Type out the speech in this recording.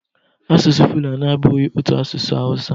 Asụsụ Fulani abụghị otu asụsụ Hausa